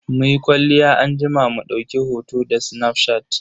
Muyi kwalliya anjima mu dauki hoto da snafshat.